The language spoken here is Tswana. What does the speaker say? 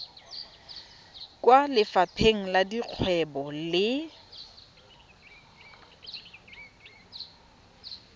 kwa lefapheng la dikgwebo le